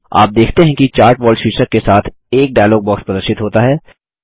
आप देखते हैं कि चार्ट वॉल शीर्षक के साथ एक डायलॉग बॉक्स प्रदर्शित होता है